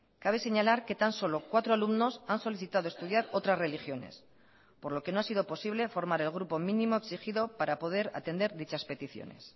cabe señalar que tan solo cuatro alumnos han solicitado estudiar otras religiones por lo que no ha sido posible formar el grupo mínimo exigido para poder atender dichas peticiones